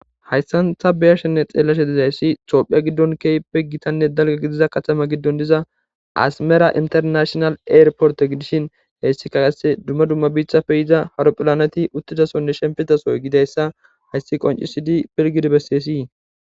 Hayssan ta be7ashenne xeellashe dizayssa tophiya giddon gitanne keehippe dalgga gidida katama giddon diza asmera internashinal eyirportte gidishin hessi qasse dumma dumma mithappe yiza aropilaneeti uttidi shemppizaso gedeyssa hayssi qonccisidi pilggidi besseesi.